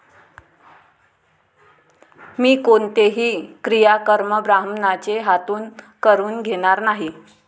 मी कोणतेही क्रियाकर्म ब्राह्मणाचे हातून करवून घेणार नाही.